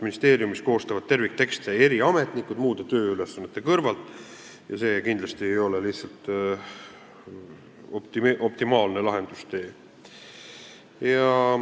Ministeeriumis koostavad terviktekste eri ametnikud muude tööülesannete kõrvalt ja see ei ole lihtsalt optimaalne lahendustee.